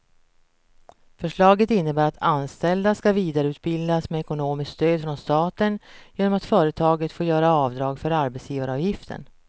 Förslaget innebär att anställda ska vidareutbildas med ekonomiskt stöd från staten genom att företagen får göra avdrag på arbetsgivaravgiften.